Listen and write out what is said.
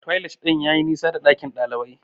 Toilet yayi nisa da dakin kwanan dalibai.